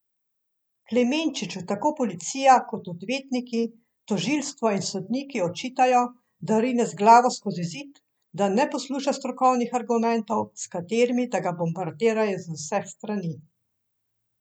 Klemenčiču tako policija kot odvetniki, tožilstvo in sodniki očitajo, da rine z glavo skozi zid, da ne posluša strokovnih argumentov, s katerimi da ga bombardirajo z vseh strani.